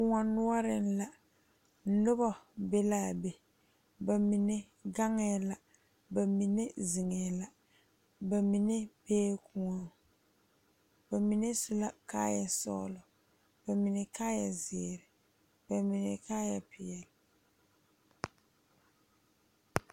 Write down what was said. Kõɔ noɔreŋ la nobɔ be laa be ba mine gaŋɛɛ la ba mine zeŋɛɛ la ba mine bee kõɔŋ ba mine su la kaayɛ sɔglɔ ba mine kaayɛ zeere ba mine kaayɛ peɛle.